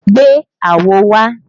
Gbé àwo wá!